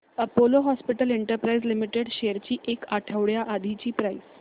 Apollo hospitals enterprise limited shares ची एक आठवड्या आधीची प्राइस